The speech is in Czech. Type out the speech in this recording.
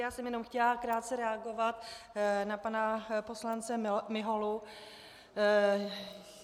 Já jsem jenom chtěla krátce reagovat na pana poslance Miholu.